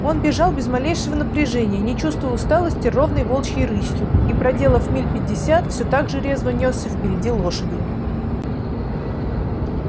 он бежал без малейшего напряжения не чувствуя усталости ровной волчьей рысью и проделав миль пятьдесят всё так же резво нёсся впереди лошади